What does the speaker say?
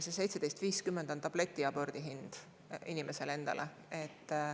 See 17,50 on tabletiabordi hind inimesele endale.